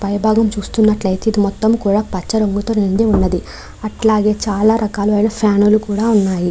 పై భాగం చూస్తునట్టయితే ఇది మొత్తం పచ్చ రంగుతో నిండి ఉన్నది అట్లాగే చాలా రకాలైన ఫ్యాన్ లు కూడా ఉన్నాయి.